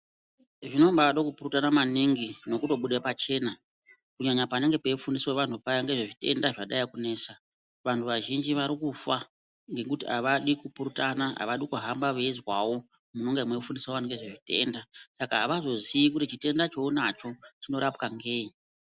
Zvinombade kupurutana maningi nekutobude pachena, kunyanya panenge peifundiswa vanhu paya ngezvezvitenda zvadai kunesa. Vanhu vazhinji vari kufa ngekuti havadi kupurutana, havadi kuhamba veizwawo munonge meifundiswa vanhiu ngezvezvitenda, saka havazoziyi kuti chitenda cheunacho chinorapwa ngei.